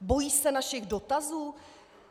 Bojí se našich dotazů?